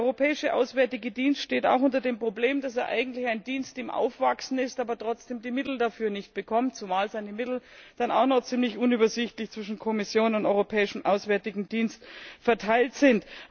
Der Europäische Auswärtige Dienst steht auch vor dem Problem, dass er eigentlich ein Dienst im Aufwachsen ist, aber trotzdem die Mittel dafür nicht bekommt, zumal seine Mittel dann auch noch ziemlich unübersichtlich zwischen Kommission und Europäischem Auswärtigem Dienst verteilt sind.